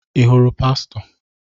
Ị hụrụ pastọ?